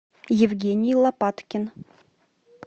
евгений лопаткин